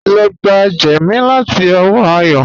Lọ gbà jẹ́mí láti ọwọ́ Àyọ́